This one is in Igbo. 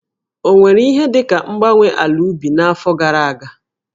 Ọ nwere ihe dị ka mgbanwe ala ubi n'afọ gara aga?